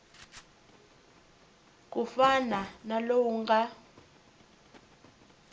ku fana na lowu nga